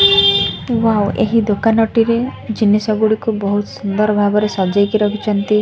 ମୁଁ ଏହି ଦୋକାନଟିରେ ଜିନିଷ ଗୁଡ଼ିକୁ ବହୁତ୍ ସୁନ୍ଦର ଭାବରେ ସଜେଇକି ରଖିଛନ୍ତି।